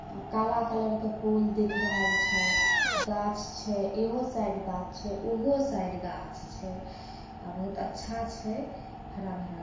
आ काला कलर का पुल दिख रहल छे घाच छे एहो साइड घाच छे उहो साइड घाच छे आ बहुत अच्छा छे हरा भरा --